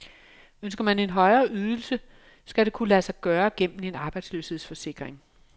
Ønsker man en højere ydelse, skal det kunne lade sig gøre gennem en arbejdsløshedsforsikring.